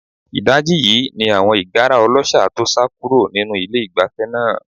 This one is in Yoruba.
Ìdajì yìí ni àwọn ìgára ọlọ́ṣà tó sá kúrò nínú ilé-ìgbafẹ́ náà.